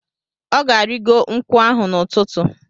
Ọ ga-arịgo nkwụ ahụ n'ụtụtụ.